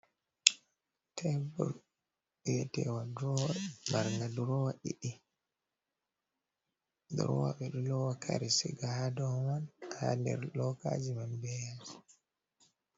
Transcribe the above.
Tebul biyetewa durowa marga durowa ɗiɗi, durowa ɓe ɗo lowa kare siga ha dou man ha nder lokaji man be yasi.